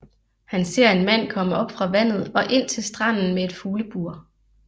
Han ser en mand komme op fra vandet og ind til stranden med et fuglebur